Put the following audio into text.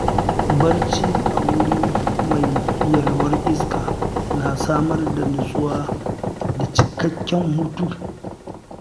Barci a wuri mai yalwar iska na samar da nutsuwa da cikakken hutu.